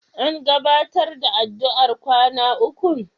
An gabatar da addu'ar kwana ukun?